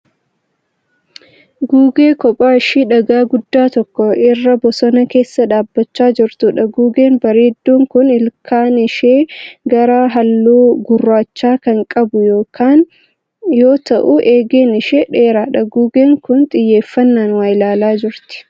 Gugee kophaa ishee dhagaa guddaa tokko irra bosona keessa dhaabbachaa jirtuudha. Gugeen bareedduun kun ilkaan ishee qara halluu gurraacha kan qabu yoo ta'u eegeen ishee dheeraadha. Gugeen kun xiyyeeffannaan waa ilaalaa jirti.